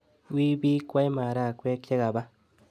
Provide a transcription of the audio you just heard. Wiy bikwei maragwek chekapa.